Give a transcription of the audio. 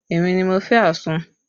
Èmi ni mo fẹ́ àsun